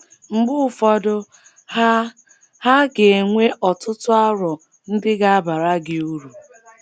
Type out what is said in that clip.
Mgbe ụfọdụ, ha ha ga - enwe ọtụtụ aro ndị ga - abara gị uru.